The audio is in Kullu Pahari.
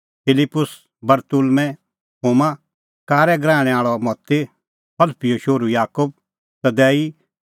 फिलिप्पुस बरतुल्मैं थोमा कारै गराहणै आल़अ मत्ती हलफीओ शोहरू याकूब तदैई